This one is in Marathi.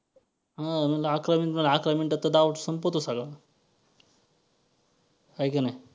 हां अकरा minute म्हणाली अकरा मिनिटात तर डाव संपतो सगळा. आहे का नाही.